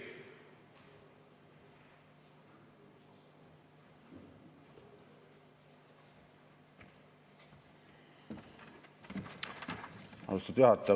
Austatud juhataja!